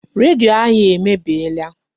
Redio anyị emebiela.